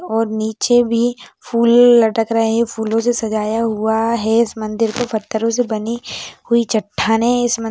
और नीचे भी फूल लटक रहे है फूलोसे सजाया हुआ है इस मन्दिर को पत्थरों से बनी हुई चठ्ठाने है इस मन--